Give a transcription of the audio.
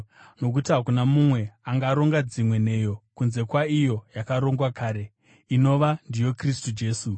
Nokuti hakuna mumwe angaronga dzimwe nheyo kunze kwaiyo yakarongwa kare, inova ndiyo Jesu Kristu.